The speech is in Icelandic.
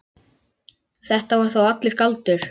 Þetta var þá allur galdur.